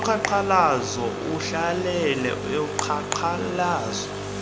woqhankqalazo uhlalele uqhankqalazo